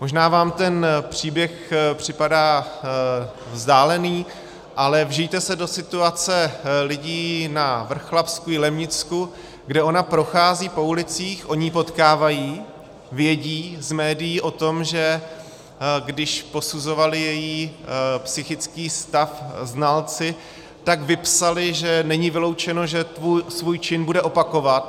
Možná vám ten příběh připadá vzdálený, ale vžijte se do situace lidí na Vrchlabsku, Jilemnicku, kde ona prochází po ulicích, oni ji potkávají, vědí z médií o tom, že když posuzovali její psychický stav znalci, tak vypsali, že není vyloučeno, že svůj čin bude opakovat.